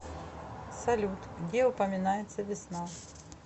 салют где упоминается весна